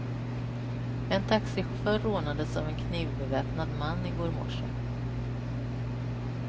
En taxichaufför rånades av en knivbeväpnad man i går morse.